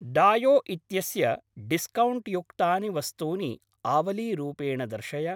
डायो इत्यस्य डिस्कौण्ट् युक्तानि वस्तूनि आवलीरूपेण दर्शय।